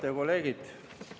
Head kolleegid!